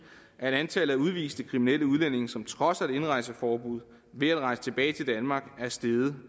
at antallet af udviste kriminelle udlændinge som trodser et indrejseforbud ved at rejse tilbage til danmark er steget